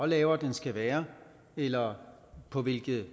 lavere den skal være eller på hvilke